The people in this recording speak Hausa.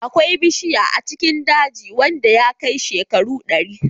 Akwai ɓushiyan a cikin dajin wanda ya kai shekaru dari.